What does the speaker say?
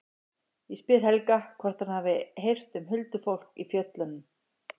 Ég spyr Helga hvort hann hafi heyrt um huldufólk í fjöllunum.